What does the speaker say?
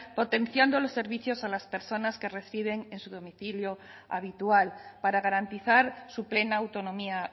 potenciando los servicios a las personas que reciben en su domicilio habitual para garantizar su plena autonomía